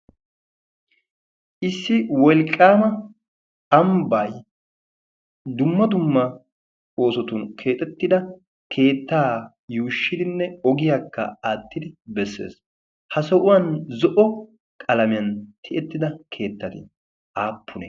issi wolqqaama amibay dumma dumma oosotun keexettida keettaa yuushshidinne ogiyaakka aattidi bessees. ha so'uwan zo'o qalamiyan tiyettida keettati aappuna?